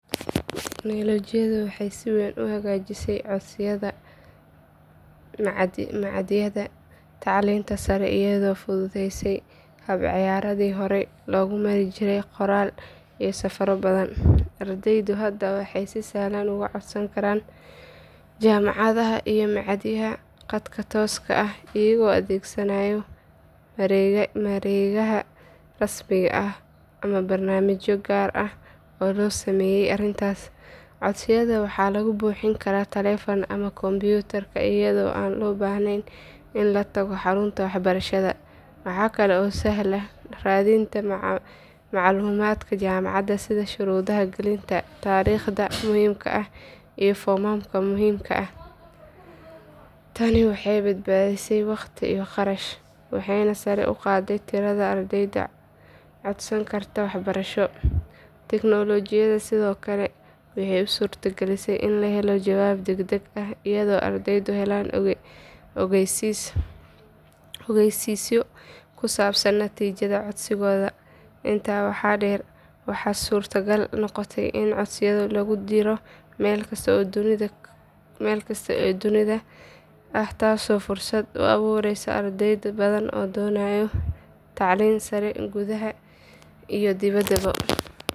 Tignoolajiyadu waxay si weyn u hagaajisay codsiyada machadyada tacliinta sare iyadoo fududeysay habraacyadii horay loogu mari jiray qoraallo iyo safarro badan. Ardaydu hadda waxay si sahlan uga codsan karaan jaamacadaha iyo machadyada khadka tooska ah iyagoo adeegsanaya mareegaha rasmiga ah ama barnaamijyo gaar ah oo loo sameeyay arrintaas. Codsiyada waxaa lagu buuxin karaa taleefanka ama kombiyuutarka iyadoo aan loo baahnayn in la tago xarunta waxbarashada. Waxa kale oo sahlan raadinta macluumaadka jaamacadaha sida shuruudaha gelitaanka, taariikhaha muhiimka ah iyo foomamka muhiimka ah. Tani waxay badbaadisay waqti iyo kharash, waxayna sare u qaaday tirada ardayda codsan karta waxbarasho. Tignoolajiyadu sidoo kale waxay u suurtagelisay in la helo jawaab degdeg ah, iyadoo ardaydu helayaan ogeysiisyo ku saabsan natiijada codsigooda. Intaa waxaa dheer, waxaa suuragal noqotay in codsiyo lagu diro meel kasta oo dunida ah taasoo fursad u abuuraysa arday badan oo doonaya tacliin sare gudaha iyo dibadda.